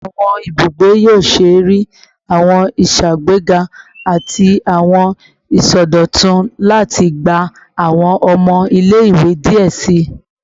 Awọn ibugbe yoo ṣee rii awọn iṣagbega ati awọn isọdọtun lati gba awọn ọmọ ile-iwe diẹ sii